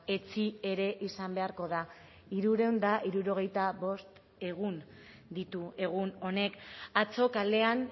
etzi ere izan beharko da hirurehun eta hirurogeita bost egun ditu egun honek atzo kalean